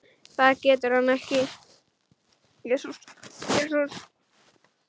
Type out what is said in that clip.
Það getur hann ekki.